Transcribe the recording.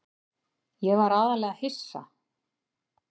Ég var aðallega hissa.